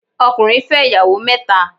Ọkùnrin fẹ́ ìyàwó mẹ́ta